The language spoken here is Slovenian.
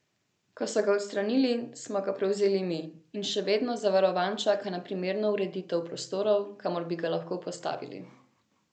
Ko so ga odstranili, smo ga prevzeli mi in še vedno zavarovan čaka na primerno ureditev prostorov, kamor bi ga lahko postavili.